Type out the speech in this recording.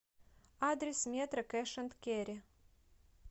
адрес метро кэш энд керри